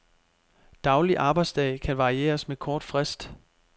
Daglig arbejdsdag kan varieres med kort frist.